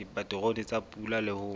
dipaterone tsa pula le ho